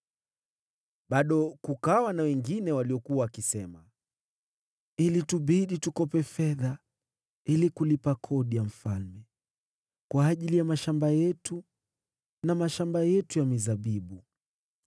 Bado kukawa na wengine waliokuwa wakisema, “Ilitubidi tukope fedha ili kulipa kodi ya mfalme kwa ajili ya mashamba yetu na mashamba yetu ya mizabibu.